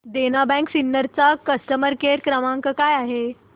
देना bank Sinnar चा customer care क्रमांक काय आहे